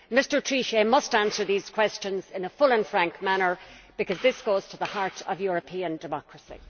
Mr Trichet must answer these questions in a full and frank manner because this goes to the heart of European democracy.